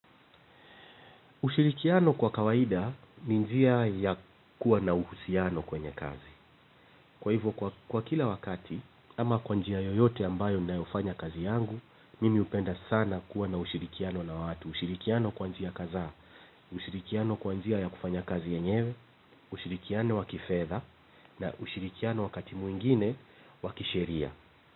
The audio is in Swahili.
Ushirikiano kwa kawaida ni njia ya kuwa na uhusiano kwenye kazi. Kwa hivo kwa kila wakati, ama kwa njia yoyote ambayo ninayofanya kazi yangu, mimi hupenda sana, kuwa na ushirikiano na watu. Ushirikiano kwa njia kadhaa, ushirikiano kwa njia ya kufanya kazi yenyewe, ushirikiano wa kifedha, na ushirikiano wakati mwingine, wa kisheria.